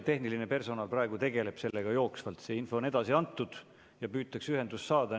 Tehniline personal praegu tegeleb probleemiga jooksvalt – see info on edasi antud ja püütakse ühendust saada.